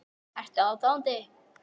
Ertu aðdáandi?